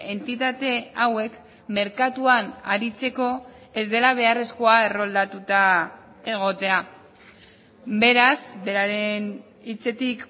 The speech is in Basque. entitate hauek merkatuan aritzeko ez dela beharrezkoa erroldatuta egotea beraz beraren hitzetik